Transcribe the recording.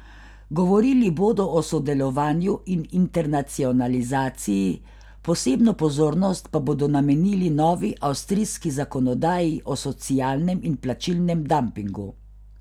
Govorili bodo o sodelovanju in internacionalizaciji, posebno pozornost pa bodo namenili novi avstrijski zakonodaji o socialnem in plačilnem dampingu.